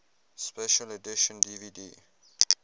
special edition dvd